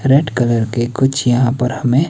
red colour के कुछ यहां पर हमें--